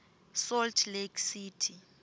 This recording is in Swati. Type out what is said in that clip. salt lake city